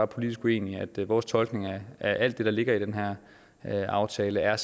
politisk uenige vores tolkning af alt det der ligger i den her aftale er at